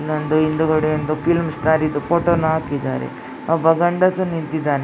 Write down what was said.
ಇಲ್ಲೊಂದು ಹಿಂದುಗಡೆ ಒಂದು ಫಿಲಂ ಸ್ಟಾರ್ ಫೋಟೋ ವನ್ನ ಹಾಕಿದ್ದಾರೆ ಒಬ್ಬ ಗಂಡಸು ನಿಂತಿದ್ದಾನೆ.